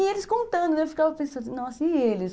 E eles contando, eu ficava pensando, nossa, e eles?